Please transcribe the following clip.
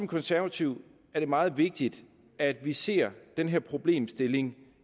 konservative er det meget vigtigt at vi ser den her problemstilling